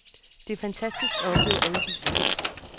Det er fantastisk at opleve alle disse ting.